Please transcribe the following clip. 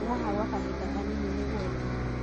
Ndĩ haha gwa kahinda kanini nĩguo thiĩ .